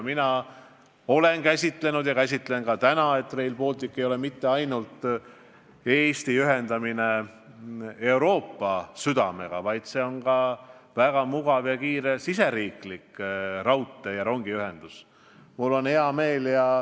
Mina olen asja ikka nii käsitanud, et Rail Baltic ei ole mitte ainult Eesti ühendamine Euroopa südamega, vaid see tagab ka väga mugava ja kiire riigisisese rongiühenduse.